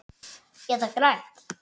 Eða grænt.